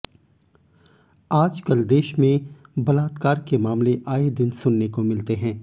आज कल देश में बलात्कार के मामले आये दिन सुनने को मिलते हैं